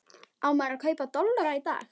Á maður að kaupa dollara í dag?